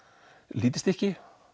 lítið stykki